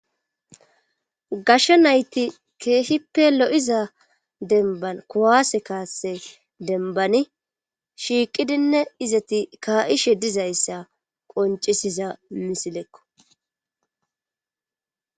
gashsha nayti keehippe lo7iza denban kuwase kaase denbani shiiqidinne izati ka7ishe dizayssa qoncisiza misilekko